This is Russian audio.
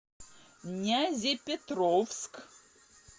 нязепетровск